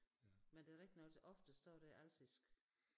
Men det rigtigt nok oftest så er det alsisk